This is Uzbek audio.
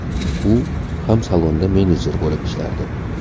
U ham salonda menedjer bo‘lib ishlardi.